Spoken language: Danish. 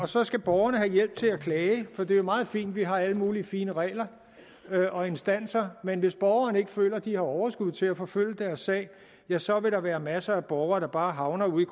så skal borgerne have hjælp til at klage for det er jo meget fint at vi har alle mulige fine regler og instanser men hvis borgerne ikke føler at de har overskud til at forfølge deres sag ja så vil der være masser af borgere der bare havner ude i